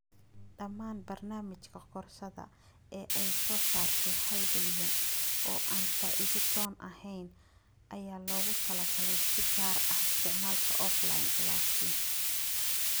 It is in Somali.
Dhammaan barnaamijka koorsada ee ay soo saartay hal bilyan oo aan faa'iido doon ahayn ayaa loogu talagalay si gaar ah isticmaalka offline. Laakin